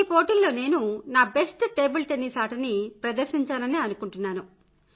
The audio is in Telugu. ఈ పోటీలలో నేను నా బెస్ట్ టేబుల్ టెన్నిస్ ఆటను ప్రదర్శించాననే అనుకుంటున్నాను